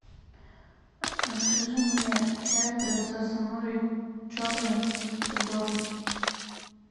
закажи мне чай принцесса нури черный высокогорный